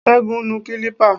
Sẹgun nu kilipa